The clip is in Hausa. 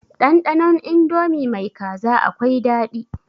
Ɗanɗanon indomi mai kaza akwai daɗi.